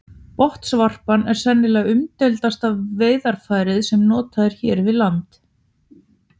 Botnvarpan er sennilega umdeildasta veiðarfærið sem notað er hér við land.